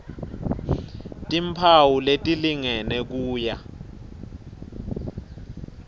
timphawu letilingene kuya